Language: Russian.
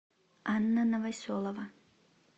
анна новоселова